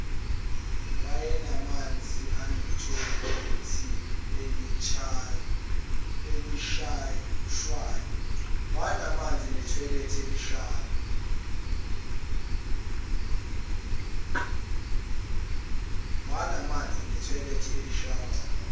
wayenamanzi enethoyilethe elishaywayo